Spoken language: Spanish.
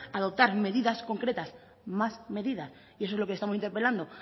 adoptar medidas concretas más medidas eso es lo que estamos interpelando